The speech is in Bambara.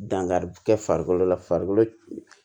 Dankari kɛ farikolo la farikolo